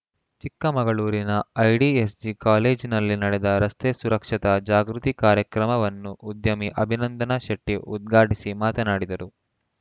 ಚಿಕ್ಕಮಗಳೂರಿನ ಐಡಿಎಸ್‌ಜಿ ಕಾಲೇಜಿನಲ್ಲಿ ನಡೆದ ರಸ್ತೆ ಸುರಕ್ಷತಾ ಜಾಗೃತಿ ಕಾರ್ಯಕ್ರಮವನ್ನು ಉದ್ಯಮಿ ಅಭಿನಂದನಶೆಟ್ಟಿಉದ್ಘಾಟಿಸಿ ಮಾತನಾಡಿದರು